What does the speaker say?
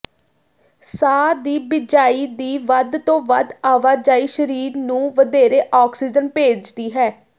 ਸਾਹ ਦੀ ਬਿਜਾਈ ਦੀ ਵੱਧ ਤੋਂ ਵੱਧ ਆਵਾਜਾਈ ਸਰੀਰ ਨੂੰ ਵਧੇਰੇ ਆਕਸੀਜਨ ਭੇਜਦੀ ਹੈ